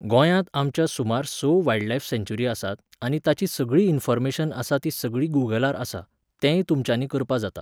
गोंयांत आमच्या सुमार स वायल्डलायफ सँक्चुयरी आसात आनी ताची सगळी इन्फॉर्मेशन आसा ती सगळी गुगलार आसा, तेंय तुमच्यानी करपा जाता